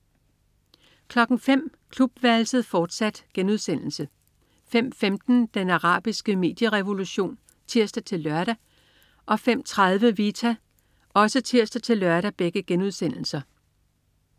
05.00 Klubværelset, fortsat* 05.15 Den arabiske medierevolution* (tirs-lør) 05.30 Vita* (tirs-lør)